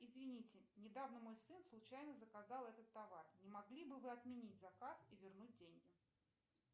извините недавно мой сын случайно заказал этот товар не могли бы вы отменить заказ и вернуть деньги